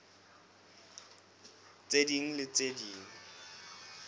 tse ding le tse ding